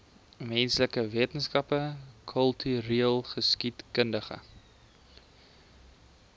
menslike wetenskappe kultureelgeskiedkundige